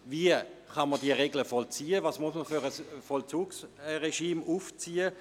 Wie kann man diese Regeln vollziehen, welches Vollzugsregime muss man aufziehen?